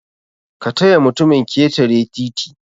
kataya mutumin ketere titi